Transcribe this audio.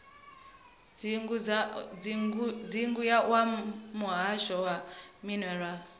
dzingu wa muhasho wa minerala